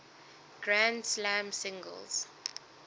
grand slam singles